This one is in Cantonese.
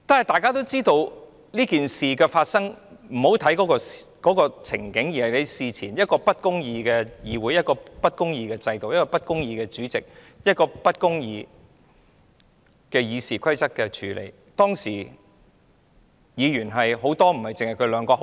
大家也知道事件的過程，不應只看當時的情景，因為這是源於一個不公義的制度、一個不公義的主席，對《議事規則》不公義的處理。